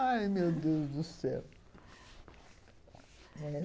Ai, meu Deus do céu.